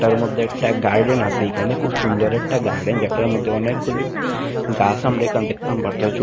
এটার মধ্যে একটা গার্ডেন আসে এইখানে খুব সুন্দর একটা গার্ডেন যেটার মধ্যে অনেকগুলি গাছ আমরা এখানে দেখতাম --